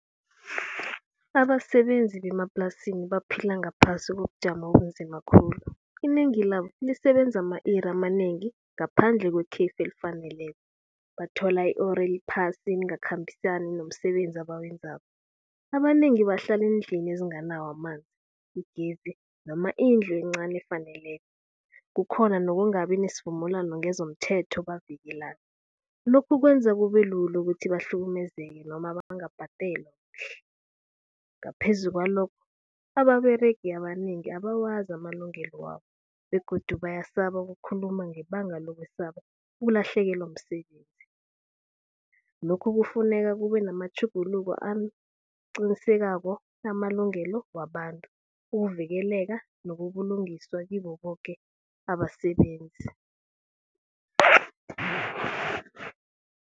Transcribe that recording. Abasebenzi bemaplasini baphila ngaphasi kobujamo obumzima khulu, inengi labo lisebenza ama-iri amanengi ngaphandle kwekhefu elifaneleko. Bathola i-uri eliphasi elingakhambisani nomsebenzi abawenzako. Abanengi bahlala eendlini ezinganawo amanzi, igezi noma indlu encani efaneleko. Kukhona nokungabi nesivumelwano ngezomthetho obavikela. Lokhu kwenza kube lula ukuthi bahlukumezeke noma bangabhadelwa kuhle. Ngaphezu kwalokho ababeregi abanengi abawazi amalungelo wabo begodu bayasaba ukukhuluma ngebanga lokusaba ukulahlekelwa msebenzi. Lokhu kufuneka kube namatjhuguluko aqinisekako amalungelo wabantu, ukuvikeleka, nobulungiswa kibo boke abasebenzi.